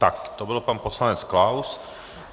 Tak to byl pan poslanec Klaus.